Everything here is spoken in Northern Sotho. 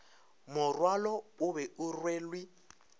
morwalo o be o rwelwe